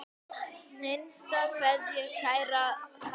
HINSTA KVEÐJA Kæra Kalla mín.